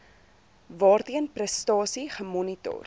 waarteen prestasie gemonitor